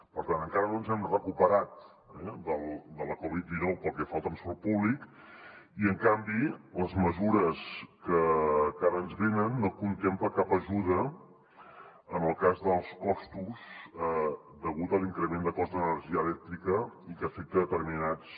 per tant encara no ens hem recuperat eh de la covid dinou pel que fa al transport públic i en canvi les mesures que ara ens venen no contemplen cap ajuda en el cas dels costos degut a l’increment de cost d’energia elèctrica i que afecta determinats